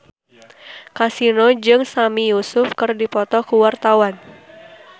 Kasino jeung Sami Yusuf keur dipoto ku wartawan